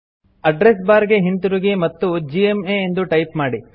address bar ಗೆ ಹಿಂತಿರುಗಿ ಮತ್ತು ಜಿಎಂಎ ಎಂದು ಟೈಪ್ ಮಾಡಿ